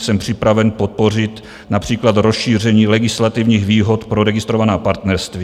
Jsem připraven podpořit například rozšíření legislativních výhod pro registrovaná partnerství.